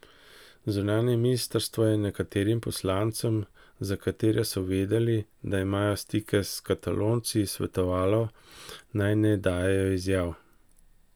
Zunanje ministrstvo je nekaterim poslancem, za katere so vedeli, da imajo stike s Katalonci, svetovalo, naj ne dajejo izjav.